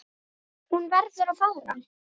Hún verður að fara.